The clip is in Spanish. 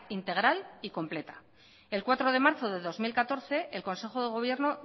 integral y completa el cuatro de marzo de dos mil catorce el consejo de gobierno